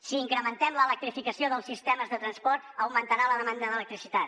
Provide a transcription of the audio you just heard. si incrementem l’electrificació dels sistemes de transport augmentarà la demanda d’electricitat